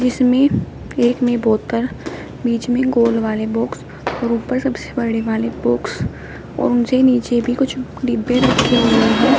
जिसमे एक में बोतल बीच में गोल वाले बॉक्स और ऊपर सबसे बड़े वाले बॉक्स और उनसे नीचे भी कुछ डिब्बे रखे हुए हैं।